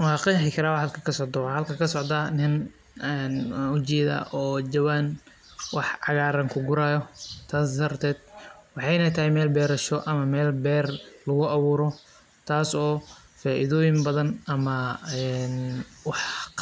Wa qexi kara halka waxa kasocda niin kugurayo jawan wax cagaar aah oo beer ah oo